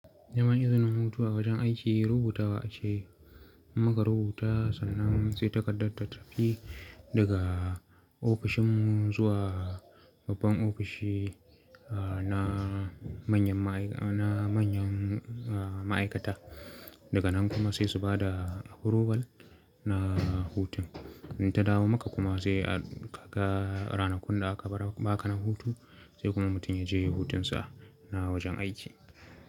Neman izinin hutu a wajen aiki rubutawa ce, in muka rubuta sannan sai takardar ta tafi daga ofishinmu zuwa babban ofishi ah na. Na manyan ma'aikata. Daga nan kuma sai su ba da approval na hutun. In ta dawo maka kuma sai ka ga ranakun da aka ba ka na hutu sai kuma mutum ya je hutunsa na wajen aiki.